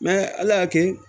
ala y'a kɛ